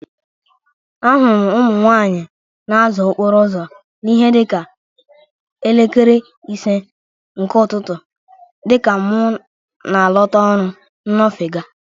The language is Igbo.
A hụrụ m ụmụ nwaanyị na-aza okpuru uzo n'ihe dịka elekere ise nke ụtụtụ dịka mụ na-alọta ọrụ nnofega.